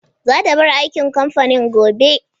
Za ta bar aikin kamfanin gobe.